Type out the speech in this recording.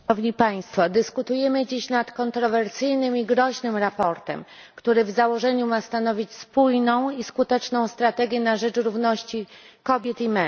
Dyskutujemy dziś nad kontrowersyjnym i groźnym sprawozdaniem, które w założeniu ma stanowić spójną i skuteczną strategię na rzecz równości kobiet i mężczyzn.